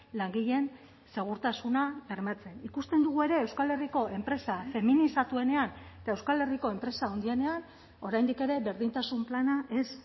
langileen segurtasuna bermatzen ikusten dugu ere euskal herriko enpresa feminizatuenean eta euskal herriko enpresa handienean oraindik ere berdintasun plana ez